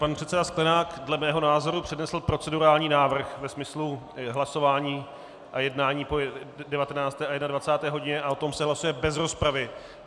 Pan předseda Sklenák dle mého názoru přednesl procedurální návrh ve smyslu hlasování a jednání po 19. a 21. hodině a o tom se hlasuje bez rozpravy.